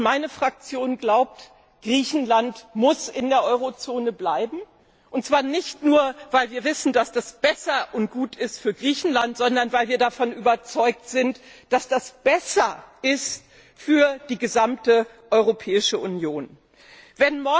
Meine Fraktion glaubt, Griechenland muss in der Eurozone bleiben, und zwar nicht nur weil wir wissen, dass das besser und gut für Griechenland ist, sondern weil wir davon überzeugt sind, dass das für die gesamte Europäische Union besser ist.